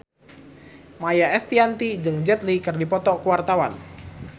Maia Estianty jeung Jet Li keur dipoto ku wartawan